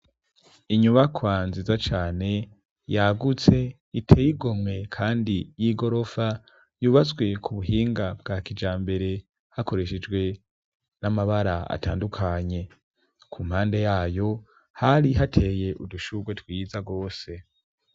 Inyubakwa nziza cane yagutse iteye igomywe kandi y'igorofa yubatswe ku buhinga bwa kijambere hakoreshejwe n'amabara atandukanye ku mpande yayo hari hateye udushuwe twiza gose.